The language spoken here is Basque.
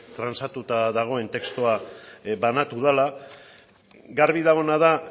trantsatuta dagoen testua banatu dela garbi dagoena da